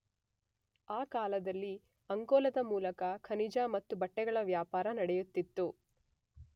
ಆ ಕಾಲದಲ್ಲಿ ಅಂಕೋಲದ ಮೂಲಕ ಖನಿಜ ಮತ್ತು ಬಟೆಗಳ ವ್ಯಾಪಾರ ನಡೆಯುತ್ತಿತ್ತು.